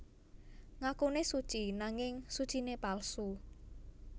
Ngakune suci nanging sucine palsu